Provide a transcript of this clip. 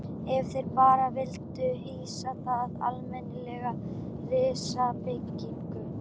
Ef þeir bara vildu hýsa það almennilega, reisa byggingu.